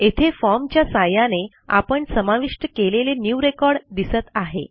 येथे फॉर्म च्या सहाय्याने आपण समाविष्ट केलेले न्यू रेकॉर्ड दिसत आहे